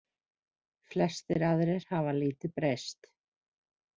Flestir aðrir hafa lítið breyst.